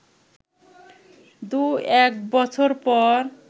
দু এক বছর পর